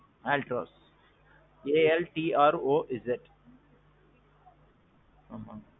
Altroz. A L T R O Z.